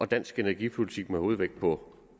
dansk energipolitik med hovedvægt på